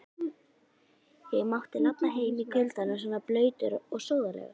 Ég mátti labba heim í kuldanum svona blautur og sóðalegur.